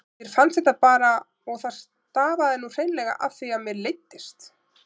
Mér fannst þetta bara og það stafaði nú hreinlega af því að mér leiddist.